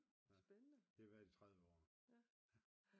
Det har vi været i 30 år